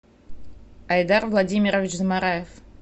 айдар владимирович замараев